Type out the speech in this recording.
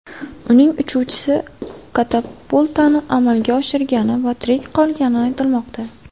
Uning uchuvchisi katapultani amalga oshirgani va tirik qolgani aytilmoqda.